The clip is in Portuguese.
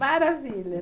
Maravilha.